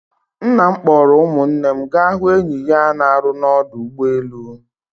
Nna m kpọrọ ụmụnne m gaa hụ enyi ya na-arụ na ọdụ ụgbọ elu.